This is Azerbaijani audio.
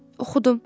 Oxudum.